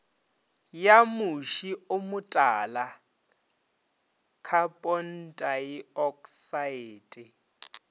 ya moši o motala khapontaeoksaete